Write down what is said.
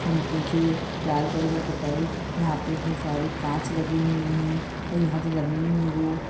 लाल colour का पुताई यहां पर बहुत सारे कांच लगी हुई हैं और यहां जो जमीन है वो----